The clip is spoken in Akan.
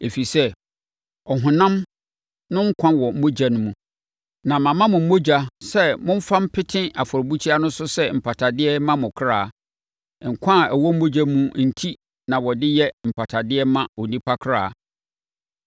Ɛfiri sɛ, ɔhonam no nkwa wɔ mogya no mu, na mama mo mogya sɛ momfa mpete afɔrebukyia no so sɛ mpatadeɛ mma mo akra; nkwa a ɛwɔ mogya mu enti na wɔde yɛ mpatadeɛ ma onipa kra.